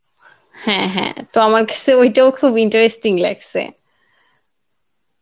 হ্যাঁ হ্যাঁ তো আমার কাছে ঐটাও খুব interesting লাগসে